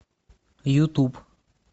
ютуб